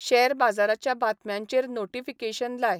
share बाजाराच्या बातम्यांचेर notification लाय